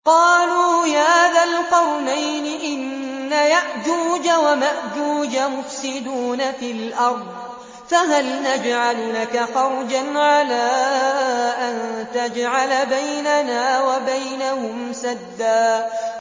قَالُوا يَا ذَا الْقَرْنَيْنِ إِنَّ يَأْجُوجَ وَمَأْجُوجَ مُفْسِدُونَ فِي الْأَرْضِ فَهَلْ نَجْعَلُ لَكَ خَرْجًا عَلَىٰ أَن تَجْعَلَ بَيْنَنَا وَبَيْنَهُمْ سَدًّا